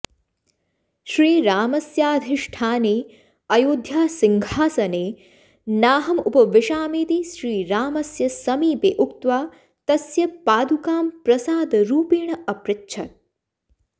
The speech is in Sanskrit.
श्रीरामस्याधिष्ठाने अयोध्यासिंहासने नाहमुपाविषामीति श्रीरामस्य समीपे उक्त्वा तस्य पादुकां प्रसादरूपेण अपृच्छत्